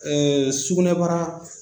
Ɛɛ sugunɛbara